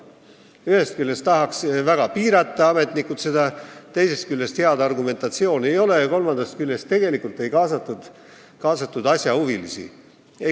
Ühest küljest tahaksid ametnikud seda väga piirata, teisest küljest head argumentatsiooni ei ole ja kolmandaks tuleb öelda, et ei kaasatud asjahuvilisi.